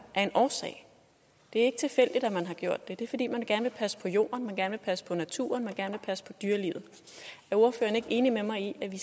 af en årsag det er ikke tilfældigt at man har indført dem det er fordi man gerne vil passe på jorden gerne vil passe på naturen gerne vil passe på dyrelivet er ordføreren ikke enig med mig i at vi